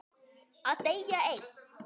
Að deyja einn.